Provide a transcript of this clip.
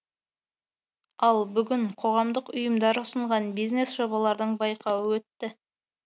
ал бүгін қоғамдық ұйымдар ұсынған бизнес жобалардың байқауы өтті